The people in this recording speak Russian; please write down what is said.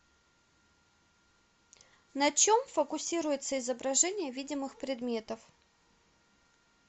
на чем фокусируется изображение видимых предметов